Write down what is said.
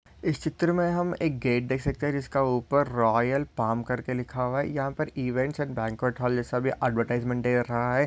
इस चित्र मे हम एक गेट देख सकते है। जिसका ऊपर रॉयल पाम करके लिखा है। यहाँ पर इवेंट्स एण्ड बांकुएट्स हॉल ये सभी ऐड्वर्टाइज़्मन्ट दे रखा है।